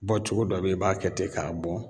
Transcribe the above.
Bɔ cogo dɔ be ye i b'a kɛ te k'a bɔn